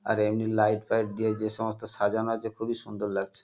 আর এমনি light fight দিয়ে যেসমস্ত সাজানো আছে খুবই সুন্দর লাগছে।